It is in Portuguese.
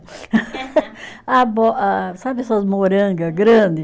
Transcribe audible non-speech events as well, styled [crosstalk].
[laughs] abó ah, sabe essas moranga grande?